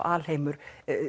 alheimur